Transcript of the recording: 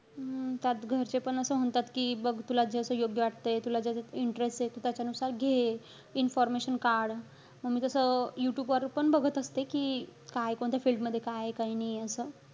हम्म त्यात घरचे पण असं म्हणतात कि, बघ तुला जसं योग्य वाटतय. तुला ज्याच्यात interest ए, तू त्याचानुसार घे. Information काढ. म मी तसं, यूट्यूब वर पण बघत असते कि, काय कोणत्या field मध्ये काय आहे काय नाहीये असं.